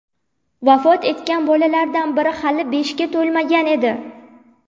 Vafot etgan bolalardan biri hali beshga to‘lmagan edi.